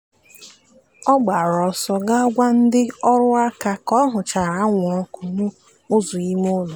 ọ gbara ọsọ ga gwa ndị ọrụ ka ọ ọ hụchara anwụrụ ọkụ n'ụzọ ime ụlọ.